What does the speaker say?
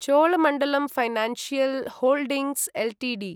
Cholamandalam financial holdings Ltd